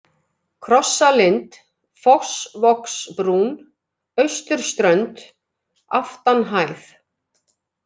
Krossalind, Fossvogsbrún, Austurströnd, Aftanhæð